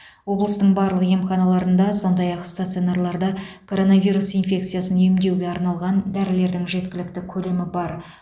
облыстың барлық емханаларында сондай ақ стационарларда коронавирус инфекциясын емдеуге арналған дәрілердің жеткілікті көлемі бар